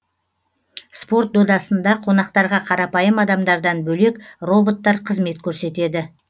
спорт додасында қонақтарға қарапайым адамдардан бөлек роботтар қызмет көрсетеді